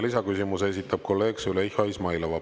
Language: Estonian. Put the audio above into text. Lisaküsimuse esitab kolleeg Züleyxa Izmailova.